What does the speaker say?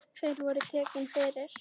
Þeir voru teknir fyrir.